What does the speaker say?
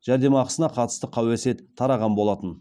жәрдемақысына қатысты қауесет тараған болатын